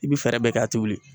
I bɛ fɛɛrɛ bɛɛ kɛ a t'i wuli.